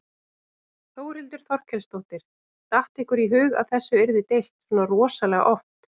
Þórhildur Þorkelsdóttir: Datt ykkur í hug að þessu yrði deilt svona rosalega oft?